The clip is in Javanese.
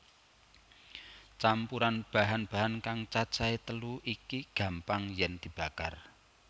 Campuran bahan bahan kang cacahé telu iki gampang yèn dibakar